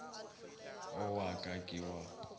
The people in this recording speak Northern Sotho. o wa ka ke wa